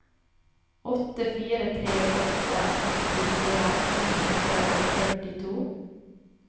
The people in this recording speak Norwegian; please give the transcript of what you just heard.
åtte fire tre åtte åttifire ni hundre og førtito